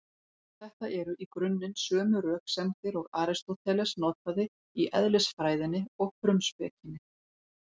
Þetta eru í grunninn sömu röksemdir og Aristóteles notaði í Eðlisfræðinni og Frumspekinni.